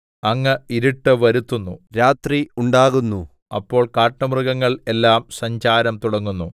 അങ്ങ് ഇരുട്ട് വരുത്തുന്നു രാത്രി ഉണ്ടാകുന്നു അപ്പോൾ കാട്ടുമൃഗങ്ങൾ എല്ലാം സഞ്ചാരം തുടങ്ങുന്നു